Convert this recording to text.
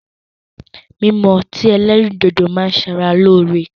Mímu ọti ẹlẹ́rìndòdó ma ń ṣara loore.